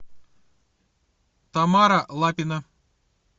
тамара лапина